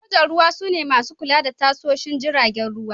Sojan Ruwa su ne masu kula da tashoshin jiragen ruwa.